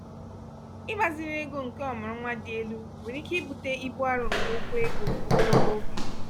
igbaziri ego nke ọmụrụnwa dị elu nwere ike ibute ibu arọ nke okwu ego ogologo oge.